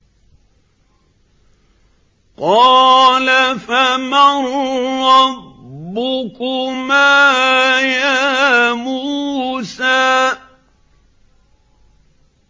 قَالَ فَمَن رَّبُّكُمَا يَا مُوسَىٰ